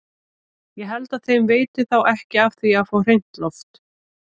Ég held að þeim veiti þá ekki af því að fá hreint loft!